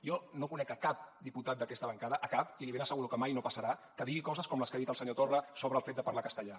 jo no conec a cap diputat d’aquesta bancada a cap i li ben asseguro que mai no passarà que digui coses com les que ha dit el senyor torra sobre el fet de parlar castellà